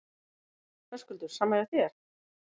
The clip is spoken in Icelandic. Höskuldur: Sama hjá þér?